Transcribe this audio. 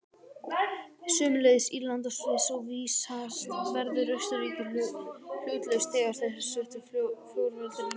Sömuleiðis Írland og Sviss, og vísast verður Austurríki hlutlaust þegar hersetu fjórveldanna lýkur.